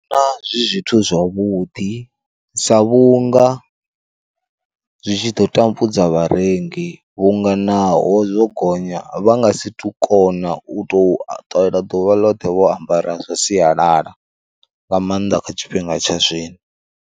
Zwi zwithu zwavhuḓi sa vhunga zwi tshi ḓo tambudza vharengi vhunga naho zwo gonya vha nga si to kona u to ṱalela ḓuvha ḽoṱhe vho ambara zwa sialala, nga maanḓa kha tshifhinga tsha zwino.